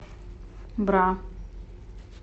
бра